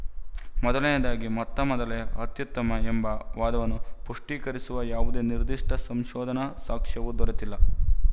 ಮೊದಲನೆಯದಾಗಿ ಮೊತ್ತ ಮೊದಲೇ ಅತ್ಯುತ್ತಮ ಎಂಬ ವಾದವನ್ನು ಪುಷ್ಟೀಕರಿಸುವ ಯಾವುದೇ ನಿರ್ದಿಷ್ಟ ಸಂಶೋಧನಾ ಸಾಕ್ಷ್ಯವು ದೊರೆತಿಲ್ಲ